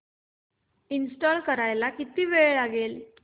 install करायला किती वेळ लागेल